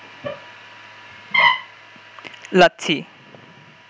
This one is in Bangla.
লাচ্ছি